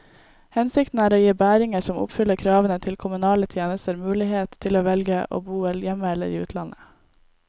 Hensikten er å gi bæringer som oppfyller kravene til kommunale tjenester, mulighet til å velge å bo hjemme eller i utlandet.